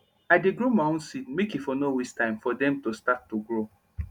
i dey grow my own seed make e for nor waste time for dem to start to grow